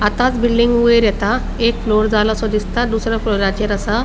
आताच बिल्डिंग वयर येता शी दिसता एक फ्लोर झालो सो दिसता दुसर्या फ्लोराचेर आसा.